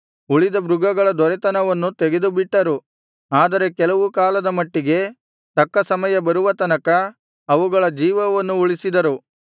ಉಳಿದ ಮೃಗಗಳ ದೊರೆತನವನ್ನು ತೆಗೆದುಬಿಟ್ಟರು ಆದರೆ ಕೆಲವು ಕಾಲದ ಮಟ್ಟಿಗೆ ತಕ್ಕ ಸಮಯ ಬರುವ ತನಕ ಅವುಗಳ ಜೀವವನ್ನು ಉಳಿಸಿದರು